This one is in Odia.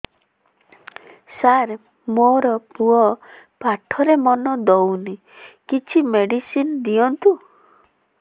ସାର ମୋର ପୁଅ ପାଠରେ ମନ ଦଉନି କିଛି ମେଡିସିନ ଦିଅନ୍ତୁ